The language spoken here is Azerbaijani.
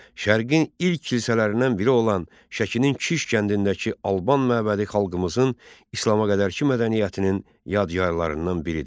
Şərqin ilk kilsələrindən biri olan Şəkinin Kiş kəndindəki Alban məbədi xalqımızın İslama qədərki mədəniyyətinin yadigarlarından biridir.